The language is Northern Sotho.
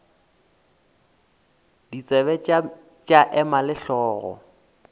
ditsebe tša ema le hlogo